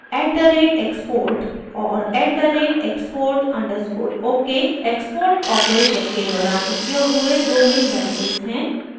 at the rate export और at the rate export underscore ok export operation के दौरान उपयोग हुए दो मेन वेरिएबल्स हैं